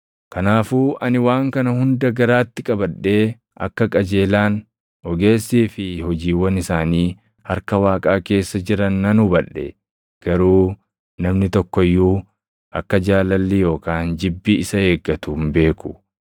Kanaafuu ani waan kana hunda garaatti qabadhee akka qajeelaan, ogeessii fi hojiiwwan isaanii harka Waaqaa keessa jiran nan hubadhe; garuu namni tokko iyyuu akka jaalalli yookaan jibbi isa eeggatu hin beeku.